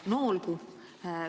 No olgu.